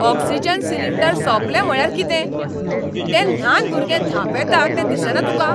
Oxygen cylinder सोंपले म्हळ्यार कितें? तें ल्हान भुरगें धांपेता तें दिसना तुका?